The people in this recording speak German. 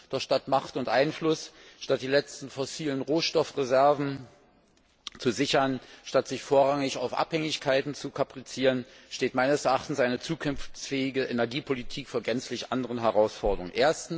Doch statt Macht und Einfluss und die letzten fossilen Rohstoffreserven zu sichern, statt sich vorrangig auf Abhängigkeiten zu kaprizieren, steht meines Erachtens eine zukunftsfähige Energiepolitik vor gänzlich anderen Herausforderungen.